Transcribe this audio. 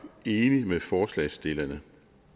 enig med forslagsstillerne